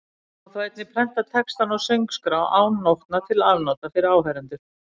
Má þá einnig prenta textann á söngskrá án nótna til afnota fyrir áheyrendur.